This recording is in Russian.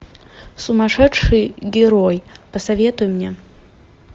сумасшедший герой посоветуй мне